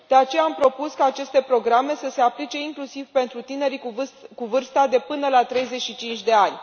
De aceea am propus ca aceste programe să se aplice inclusiv pentru tinerii cu vârsta de până la 35 de ani.